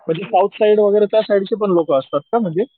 म्हणजे south side वैगरेचा side ची पण लोक असतात का म्हणजे?